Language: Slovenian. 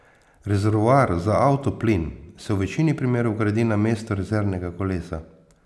Rezervoar za avtoplin se v večini primerov vgradi na mesto rezervnega kolesa.